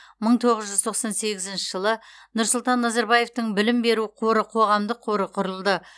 мың тоғыз жүз тоқсан сегізінші жылы нұрсұлан назарбаевтың білім беру қоры қоғамдық қоры құрылды